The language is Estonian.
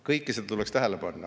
Kõike seda tuleks tähele panna.